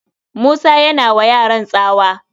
Musa yana wa yaran tsawa